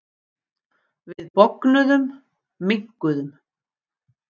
Við bognuðum, minnkuðum.